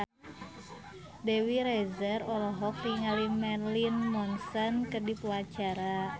Dewi Rezer olohok ningali Marilyn Manson keur diwawancara